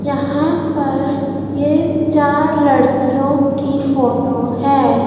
यहां पर ये चार लड़कियों की फोटो है।